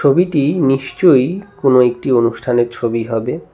ছবিটি নিশ্চয়ই কোনো একটি অনুষ্ঠানের ছবি হবে।